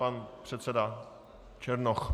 Pan předseda Černoch.